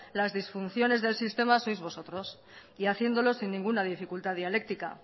las disfunciones del sistema sois vosotros y haciéndolo sin ninguna dificultad dialéctica